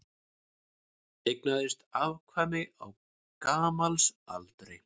Eignaðist afkvæmi á gamalsaldri